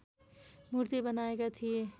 मूर्ती बनाएका थिए